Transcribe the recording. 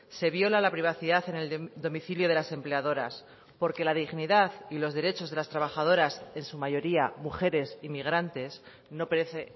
se viola la privacidad en el domicilio de las empleadoras porque la dignidad y los derechos de las trabajadoras en su mayoría mujeres inmigrantes no parece